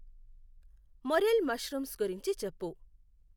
Morel mushrooms గురించి చెప్పు.